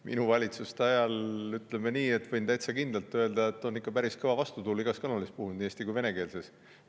Minu valitsuse ajal, võin täitsa kindlalt öelda, on ikka päris kõva vastutuul igas kanalis puhunud, nii eesti- kui venekeelsetes.